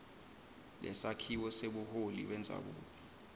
lesakhiwo sebuholi bendzabuko